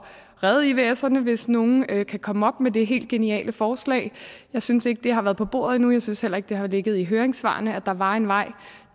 redde ivserne hvis nogle kan komme op med det helt geniale forslag jeg synes ikke det har været på bordet endnu jeg synes heller ikke at det har ligget i høringssvarene at der var en vej